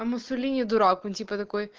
а муссолини дурак он типа такой